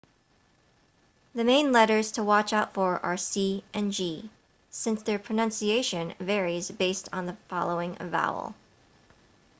the main letters to watch out for are c and g since their pronunciation varies based on the following vowel